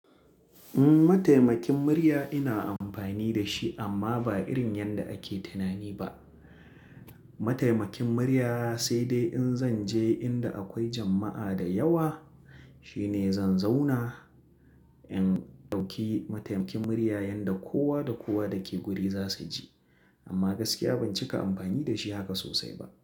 Mataimakin murya ina amfani da shi amma ba irin yanda ake tunani ba. Mataimakin murya sai dai in zanje inda akwai jama'a da yawa shine zan zauna in ɗauki mataimakin murya yanda kowa da kowa dake guri za su ji. Amma gaskiya ban cika amfani da shi haka sosai ba.